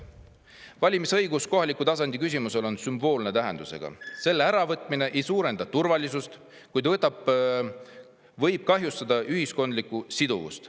Valimisõigus kohaliku tasandi on sümboolse tähendusega, selle äravõtmine ei suurenda turvalisust, kuid võib kahjustada ühiskondlikku siduvust.